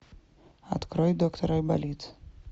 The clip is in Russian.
открой доктор айболит